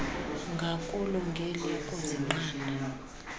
ngakulo ngeliya kuzinqanda